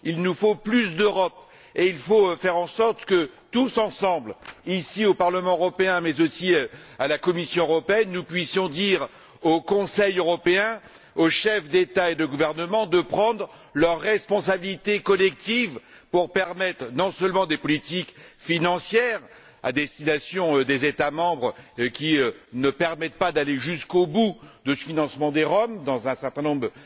Il nous faut plus d'Europe et il faut faire en sorte que tous ensemble, ici au Parlement européen mais aussi à la Commission européenne, nous puissions dire au Conseil européen, aux chefs d'État et de gouvernement de prendre leurs responsabilités collectives, pour permettre des politiques financières à destination non seulement des États membres qui ne permettent pas d'aller jusqu'au bout de ce financement des Roms dans un certain nombre